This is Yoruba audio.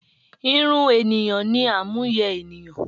Irun ènìyàn ni àmúyẹ énìyàn